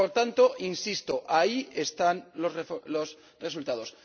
Por tanto, insisto ahí están los resultados.